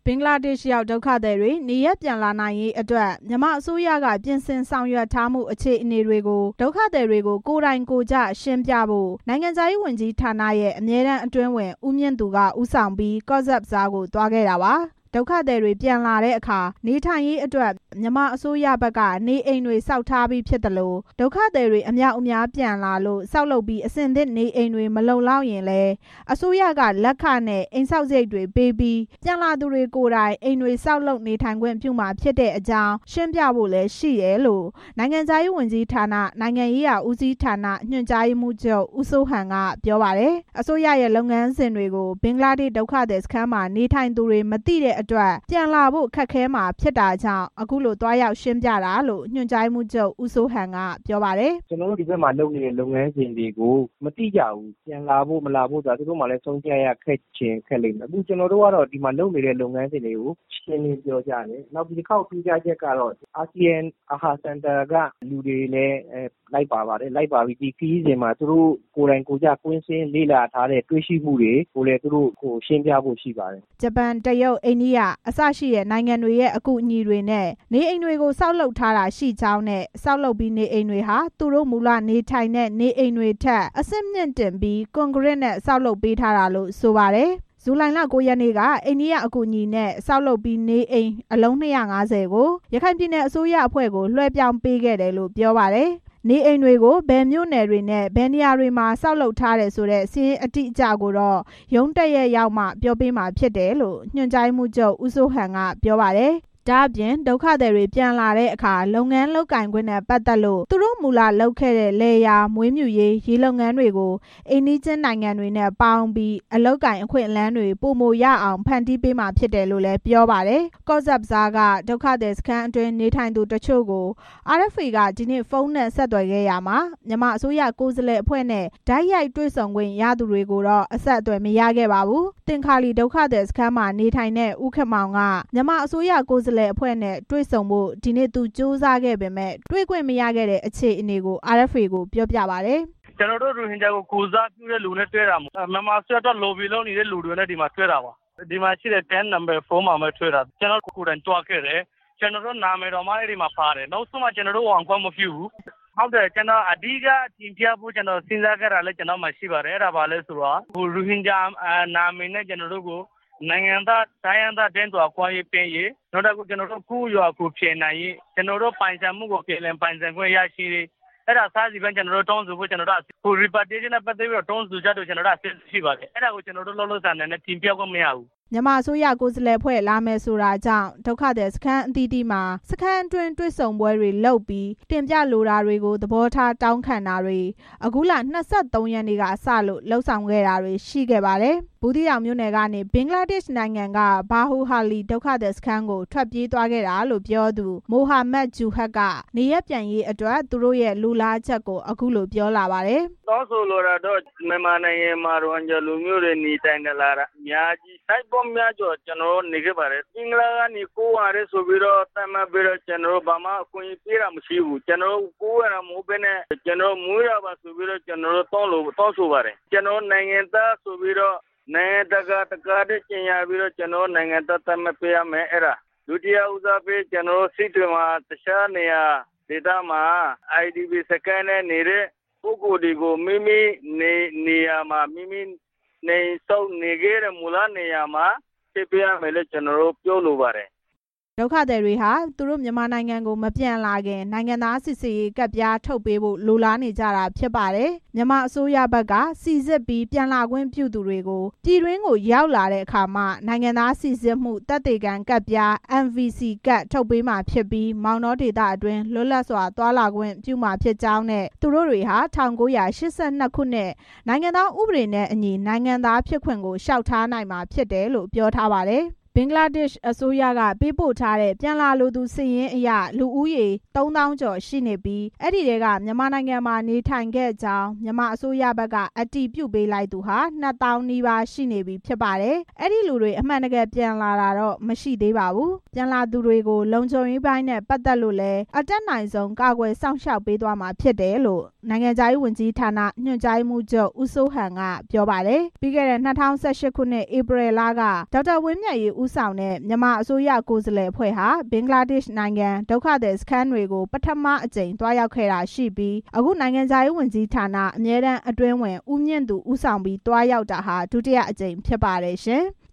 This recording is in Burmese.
င်္ဂလားဒေ့ရှ်ရောက် ဒုက္ခသည်တွေ နေရပ်ပြန်လာနိုင်ရေးအတွက် မြန်မာအစိုးရက ပြင်ဆင်ဆောင်ရွက်ထားမှု အခြေအနေတွေကို ဒုက္ခသည်တွေကို ကိုယ်တိုင်ကိုယ်ကျ ရှင်းပြဖို့ နိုင်ငံခြားရေးဝန်ကြီးဌာနရဲ့ အမြဲတမ်း အတွင်းဝန် ဦးမြင့်သူက ဦးဆောင်ပြီး ကော့ဆက်ဘဇားကို သွားခဲ့တာပါ။ ဒုက္ခသည်တွေပြန်လာတဲ့အခါ နေထိုင်ရေးအတွက် မြန်မာအစိုးရဘက်က နေအိမ်တွေဆောက်ထားပြီး ဖြစ်သလို ဒုက္ခသည်တွေ အမြောက်အမြားပြန်လာလို့ ဆောက်လုပ်ပြီး အဆင်သင့်နေအိမ်တွေ မလုံလောက်ခဲ့ရင်လည်း အစိုးရက လက်ခနဲ့ အိမ်ဆောက်စားရိတ်တွေပေးပြီး ပြန်လာသူတွေကိုယ်တိုင် အိမ်တွေ ဆောက်လုပ် နေထိုင်ခွင့်ပြုမှာ ဖြစ်တဲ့အကြောင်းတွေ ရှင်းပြသွားဖို့ရှိတယ်လို့လည်း နိုင်ငံခြားရေးဝန်ကြီးဌာန၊ နိုင်ငံရေးရာဦးစီးဌာန ညွန်ကြားရေးမှူးချုပ် ဦးစိုးဟန် ကပြောပါတယ်။ အစိုးရရဲ့ လုပ်ငန်းစဉ်တွေကို ဘင်္ဂလားဒေ့ရှ် ဒုက္ခသည်စခန်းမှာ နေထိုင်သူတွေ မသိတဲ့အတွက် ပြန်လာဖို့ ခက်ခဲမှာ ဖြစ်တာကြောင့် အခုလို သွားရောက်ရှင်းပြတာလို့ ညွန်ကြားရေးမှူးချုပ် ဦးစိုးဟန် ကပြောပါတယ်။ "ကျနော်တို့ ဒီဘက်မှာ လုပ်နေတဲ့ လုပ်ငန်းစဉ်တွေကို မသိကြဘူး။ ပြန်လာဖို့ သူတို့မှာလည်း ဆုံးဖြတ်ရခက် ချင်ခက်လိမ့်မယ်။ ကျနော်တို့ကလည်း ဒီဘက်မှာလုပ်နေတဲ့ လုပ်ငန်းစဉ်တွေကို ရှင်းလင်းပြောကြားတယ်။ နောက် ဒီတစ်ခေါက် ထူးခြားချက်ကတော့ အာဆီယံ AHA Centre ကလူတွေလည်း လိုက်ပါပြီး ဒီခရီးစဉ်မှာ သူတို့ ကိုယ်တိုင်ကိုယ်ကျ ကွင်းဆင်းလေ့လာပြီး တွေ့ရှိချက်တွေကို ရှင်းလင်းပြဖို့ ရှိပါတယ်" ဂျပန်၊ တရုတ်၊ အိန္ဒိယ အစရှိတဲ့ နိုင်ငံတွေရဲ့ အကူအညီတွေနဲ့ နေအိမ်တွေ ဆောက်လုပ်ထားတာရှိကြောင်းနဲ့ ဆောက်လုပ်ပြီး နေအိမ်တွေဟာ သူတို့မူလနေထိုင်တဲ့ နေအိမ်တွေထက် အဆင့်မြှင့်တင်ပြီး ကွန်ကရစ်နဲ့ တည်ဆောက်ပေးထားတာလို့ ဆိုပါတယ်။ ဇူလိုင် ၉ ရက်နေ့က အိန္ဒိယအကူအညီနဲ့ ဆောက်လုပ်ပြီးနေအိမ် အလုံး ၂၅၀ ကို ရခိုင်ပြည်နယ်အစိုးရအဖွဲ့ကို လွှဲပြောင်းပေးခဲ့တယ်လို့ ပြောပါတယ်။ နေအိမ်တွေကို ဘယ်မြို့နယ်တွေနဲ့ ဘယ်နေရာတွေမှာ ဆောက် ထားတယ်ဆိုတဲ့ စာရင်းအတိအကျကိုတော့ ရုံးတက်ရက်ရောက်မှ ပြောပေးမှာဖြစ်တယ်လို့ ညွှန်ကြားရေးမှူးချုပ် ဦးစိုးဟန်က ပြောပါတယ်။ ဒါ့အပြင် ဒုက္ခသည်တွေ ပြန်လာတဲ့အခါ လုပ်ငန်းလုပ်ကိုင်ခွင့်နဲ့ ပတ်သက်လို့ သူတို့မူလလုပ်ခဲ့တဲ့ လယ်ယာ၊ မွေးမြူရေး၊ ရေလုပ်ငန်းတွေကို အိမ်နီးချင်းနိုင်ငံတွေနဲ့ ပေါင်းပြီး အလုပ်အကိုင်အခွင့်အလမ်းတွေ ပိုရအောင် ဖန်တီးပေးသွားမှာ ဖြစ်တယ်လို့ ပြောပါတယ်။ ကော့ဆက်ဘဇားက ဒုက္ခသည်စခန်းအတွင်း နေထိုင်ကြသူ တချို့ကို RFA က ဒီနေ့ ဖုန်းနဲ့ ဆက်သွယ်ခဲ့ရာမှာ မြန်မာအစိုးရကိုယ်စားလှယ်အဖွဲ့နဲ့ တိုက်ရိုက်တွေ့ခွင့်ရခဲ့သူတွေကိုတော့ အဆက်အသွယ်မရခဲ့ပါဘူး။ သင်္ခါလီဒုက္ခသည်စခန်းမှာ နေထိုင်တဲ့ ဦးခင်မောင်က မြန်မာအစိုးရ ကိုယ်စားလှယ်အဖွဲ့နဲ့ တွေ့ဆုံဖို့ ဒီနေ့ကြိုးစားခဲ့ပေမယ့် တွေ့ခွင့်မရခဲ့ဘူးလို့ RFA ကိုပြောပါတယ်။ "ကျနော်တို့ ရိုဟင်ဂျာကို ကိုယ်စားပြုတဲ့သူတွေနဲ့ တွေ့တာမဟုတ်ဘူး။ မြန်မာအစိုးရကို လော်ဘီလုပ်နေတဲ့ သူတွေနဲ့ တွေ့တာ။ ဒီမှာရှိတဲ့ ကမ့်နံပါတ် ၄ မှာပဲတွေ့တာ။ ကျနော်တို့ ကိုယ်တိုင်သွားခဲ့တယ်။ ကျနော်တို့ နာမည် တောင် အဲ့ဒီမှာပါတယ်။ နောက်ဆုံးမှာ ကျနော်တို့ကို ဝင်ခွင့်မပြုဘူး။ အဓိက တင်ပြဖို့ စဉ်းစားခဲ့တာလည်း ကျနော့် မှာ ရှိပါတယ်။ ရိုဟင်ဂျာနာမည်နဲ့ ကျနော်တို့ကို နိုင်ငံသား၊ တိုင်းရင်သားတန်းတူ အခွင့်အရေးပေးရေး၊ ကိုယ့်ရွာ ကိုယ် ပြန်နိုင်ရေး၊ ကျနော်တို့ ပိုင်ဆိုင်မှုကို ပြန်လည်ပိုင်ဆိုင်ခွင့်ရရေး။ နေရပ်ပြန်ရေးအတွက် တောင်းဆို ချက်တွေ ကျနော်တို့မှာ အဆင်သင့်ရှိပါတယ်။ ကျနေ်ာတို့အဲ့ဒါကို လောလောဆယ်အနေနဲ့ တင်ပြခွင့်မရဘူး" မြန်မာအစိုးရကိုယ်စားလှယ်အဖွဲ့ လာမယ်ဆိုတာကြောင့် ဒုက္ခသည်စခန်းအသီးသီးမှာ စခန်းတွင်း တွေ့ဆုံပွဲတွေလုပ်ပြီး တင်ပြလိုတာတွေကို သဘောထားတောင်းခံတာတွေကို အခုလ ၂၃ ရက်နေ့က စလို့လုပ် ဆောင်ခဲ့တာတွေရှိပါတယ်။ ဘူးသီးတောင်မြို့နယ်ကနေ ဘင်္ဂလားဒေ့ရှ်နိုင်ငံက ဘာလူဟာလီဒုက္ခသည်စခန်းကို ထွက်ပြေးသွားခဲ့တာလို့ ပြောသူ မိုဟာမတ်ဂျူဟာရ်က နေရပ်ပြန်ရေးအတွက် သူတို့လိုလားချက်ကို အခုလို ပြောပါတယ်။ "တောင်းဆိုလိုတာက မြန်မာနိုင်ငံမှာ ရိုဟင်ဂျာလူမျိုးတွေ နေထိုင်လာတာ အများကြီး နှစ်ပေါင်းများစွာ ကျနော်တို့ နေခဲ့ပါတယ်။ ဘင်္ဂလားကနေ ခိုးဝင်တယ်ဆိုပြီးတော့ ကျနော်တို့ကို ဘာမှ အခွင့်အရေးမပေးဘူး။ ခိုးဝင်တာ မဟုတ်ဘဲ မွေးရာပါဆိုပြီးတော့ ကျနော်တို့ တောင်းဆိုပါတယ်။ နိုင်ငံတကာကို ကြေညာပြီး ကျနော်တို့ကို နိုင်ငံသား သတ်မှတ်ပေးရမယ်။ ဒုတိယဦးစားပေး ကျနော်တို့ စစ်တွေမှာ IDP စခန်းနဲ့ နေတဲ့သူတွေကို မူလ သူတို့နေရာမှာ နေအိမ်တွေနဲ့ နေခွင့်ပေးရမယ်လို့ ပြောလိုပါတယ်" ဒုက္ခသည်တွေက သူတို့မြန်မာနိုင်ငံ ပြန်မလာခင် နိုင်ငံသားစိစစ်ရေးကတ်ပြားထုတ်ပေးဖို့ လိုလားနေကြတာဖြစ်ပါတယ်။ အစိုးရဘက်က ပြည်တွင်းကို ပြန်ရောက်မှသာ နိုင်ငံသားစိစစ်မှု သက်သေခံကတ်ပြား NVC ကတ်ထုတ် ပေးမှာဖြစ်ပြီး၊ မောင်တောဒေသအတွင်း လွတ်လပ်စွာ သွားလာခွင့်ပြုမှာဖြစ်ကြောင်းနဲ့ သူတို့တွေဟာ ၁၉၈၂ ခုနှစ် နိုင်ငံသားဥပဒေနဲ့အညီ နိုင်ငံသားဖြစ်ခွင့် လျှောက်ထားနိုင်မှာ ဖြစ်တယ်လို့ ပြောထားပါတယ်။ ဘင်္ဂလားဒေ့ရှ်ကို ထွက်ပြေးသွားသူတွေထဲက ဘင်္ဂလားဒေ့ရှ်အစိုးရက ပေးပို့ထားတဲ့ ပြန်လာလိုသူစာရင်းအရ လူဦးရေစာရင်း သုံးသောင်းကျော်ရှိပြီး အဲဒီထဲက မြန်မာနိုင်ငံမှာနေထိုင်ခဲ့ကြောင်း မြန်မာအစိုးရဘက်က အတည်ပြုပေးလိုက်သူ နှစ်သောင်းနီးပါးရှိနေပြီဖြစ်ပေမယ့် အဲဒီလူတွေ အမှန်တကယ်ပြန်လာတာ မရှိသေးဘူးလို့ သိရပါတယ်။ ပြန်လာသူတွေကို လုံခြုံရေးပိုင်းနဲ့ ပတ်သက်လို့လည်း အတက်နိုင်ဆုံး ကာကွယ်စောင့်ရှောက်ပေးသွားမှာ ဖြစ်တယ်လို့ ညွန်ကြားရေးမှူးချုပ် ဦးစိုးဟန် ကပြောပါတယ်။ ပြီးခဲ့တဲ့ ၂၀၁၈ ခုနှစ် ဧပြီလက ဒေါက်တာ ဝင်းမြတ်အေး ဦးဆောင်တဲ့ မြန်မာအစိုးရ ကိုယ်စားလှယ်အဖွဲ့ဟာ ဘင်္ဂလားဒေ့ရှ်နိုင်ငံက ဒုက္ခသည်စခန်းတွေကို သွားရောက်ခဲ့တာရှိပြီး အခု နိုင်ငံခြားရေးဝန်ကြီးဌာန အမြဲတမ်း အတွင်းဝန် ဦးမြင့်သူ ဦးဆောင်ပြီး သွားရောက်တာဟာ ဒုတိယအကြိမ် ဖြစ်ပါတယ်ရှင်။